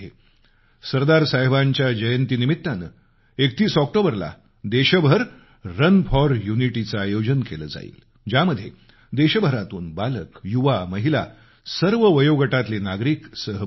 सरदार साहेबांच्या जयंतीनिमित्तानं 31 ऑक्टोबरला देशभर रन फॉर युनिटी चं आयोजन केलं जाईल ज्यामध्ये देशभरातून बालक युवा महिला सर्व वयोगटातले नागरिक सहभागी होतील